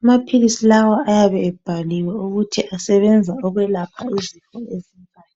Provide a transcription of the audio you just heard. amaphilisi lawa ayabe ebhaliwe ukuthi asebenza ukwelapaha izifo ezinjani